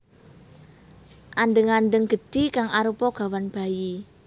Andheng andheng gedhi kang arupa gawan bayi